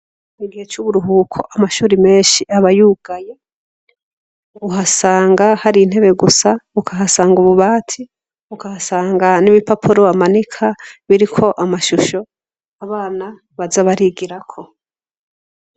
Mu gihe c'uburuhuko amashure menshi aba yugaye, uhasanga hari intebe gusa, ukahasanga ububati, ukasanga n'ibipapuro bamanika biriko amashusho abana baza barigirako.